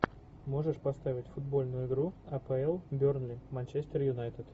можешь поставить футбольную игру апл бернли манчестер юнайтед